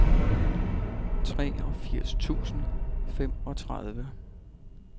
treogfirs tusind og femogtredive